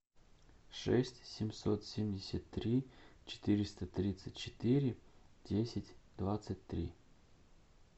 шесть семьсот семьдесят три четыреста тридцать четыре десять двадцать три